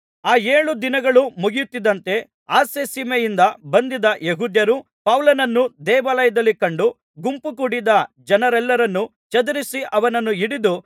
ಆ ಏಳು ದಿನಗಳು ಮುಗಿಯುತ್ತಿದ್ದಂತೆ ಅಸ್ಯಸೀಮೆಯಿಂದ ಬಂದಿದ್ದ ಯೆಹೂದ್ಯರು ಪೌಲನನ್ನು ದೇವಾಲಯದಲ್ಲಿ ಕಂಡು ಗುಂಪುಕೂಡಿದ ಜನರೆಲ್ಲರನ್ನು ಚದುರಿಸಿ ಅವನನ್ನು ಹಿಡಿದು